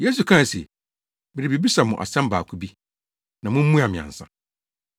Yesu kae se, “Merebebisa mo asɛm baako bi, na mummua me ansa.